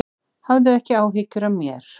Hafðu ekki áhyggjur af mér.